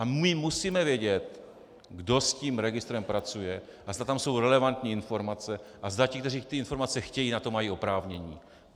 A my musíme vědět, kdo s tím registrem pracuje a zda tam jsou relevantní informace a zda ti, kteří ty informace chtějí, na to mají oprávnění.